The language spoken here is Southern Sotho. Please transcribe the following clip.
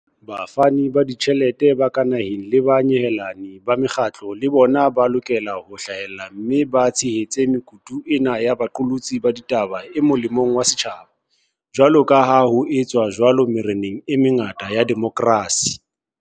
Bafani ba ditjhelete ba ka naheng le banyehelani ba mekgatlo le bona ba lokela ho hlahella mme ba tshehetse mekutu ena ya boqolotsi ba ditaba e mo lemong wa setjhaba, jwaloka ha ho etswa jwalo mererong e mengata ya demokrasi.